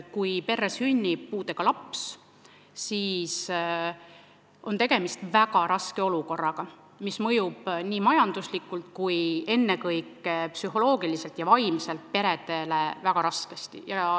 Kui perre sünnib puudega laps, siis on tegemist väga raske olukorraga, mis mõjub majanduslikult ning ennekõike psühholoogiliselt ja vaimselt perele väga raskesti.